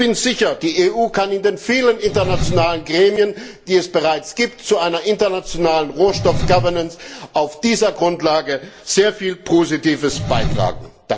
Ich bin sicher Die EU kann in den vielen internationalen Gremien, die es bereits gibt, zu einer internationalen Rohstoff Governance auf dieser Grundlage sehr viel Positives beitragen.